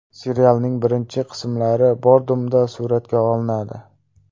Serialning birinchi qismlari Bodrumda suratga olinadi.